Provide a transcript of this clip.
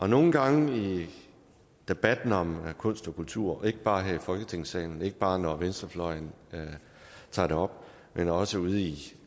nogle gange i debatten om kunst og kultur ikke bare her i folketingssalen ikke bare når venstrefløjen tager det op men også ude i